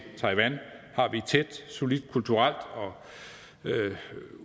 tæt solidt kulturelt og